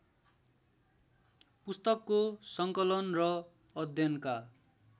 पुस्तकको सङ्कलन र अध्ययनका